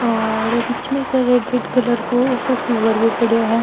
और बिच में एक रेड रेड कलर को सो फ्लॉवर भी पड़े है।